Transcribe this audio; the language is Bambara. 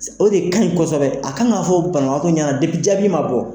O de kan ɲi kosɛbɛ a k'an ka fɔ banabagatɔ ɲɛna jaabi ma bɔ.